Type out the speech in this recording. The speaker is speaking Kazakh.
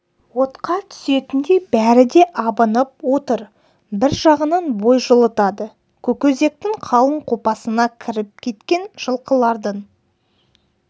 отқа түсетіндей бәрі де абынып отыр бір жағынан бой жылытады көкөзектің қалың қопасына кіріп кеткен жылқылардың